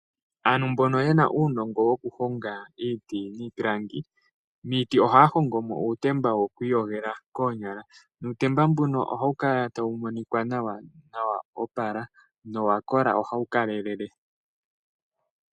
Aantu mbono ye na uunongo wokuhonga iiti niipilangi, miiti ohaya hongo mo uutemba woku iyogela koonyala nuutemba mbuno ohawu kala tawu monika nawa nowa opala. Owa kola. Ohawu kalelele.